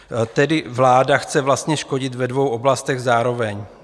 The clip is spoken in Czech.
Tedy vláda chce vlastně škodit ve dvou oblastech zároveň.